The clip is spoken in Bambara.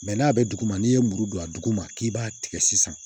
n'a bɛ dugu ma n'i ye muru don a dugu ma k'i b'a tigɛ sisan